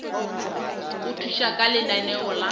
go thuša ka lenaneo la